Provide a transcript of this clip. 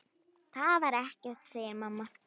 Það var ekkert, segir mamma.